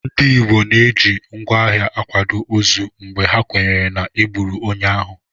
Ndị Igbo na-eji ngwá agha akwado ozu mgbe ha kwenyere na e gburu onye ahụ